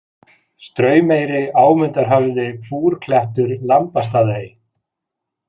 Straumeyri, Ámundarhöfði, Búrklettur, Lambastaðaey